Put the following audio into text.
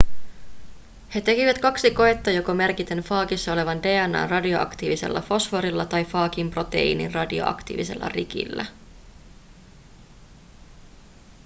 he tekivät kaksi koetta joko merkiten faagissa olevan dna:n radioaktiivisella fosforilla tai faagin proteiinin radioaktiivisella rikillä